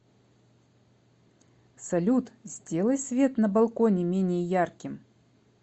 салют сделай свет на балконе менее ярким